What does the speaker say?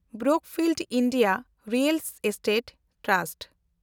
Brookfield India real estate trust